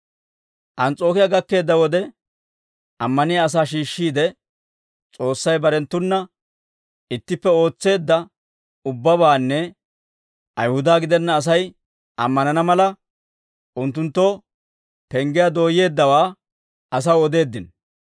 Ans's'ookiyaa gakkeedda wode ammaniyaa asaa shiishshiide, S'oossay barenttuna ittippe ootseedda ubbabaanne, Ayihuda gidenna Asay ammanana mala, unttunttoo penggiyaa dooyyeeddawaa, asaw odeeddino.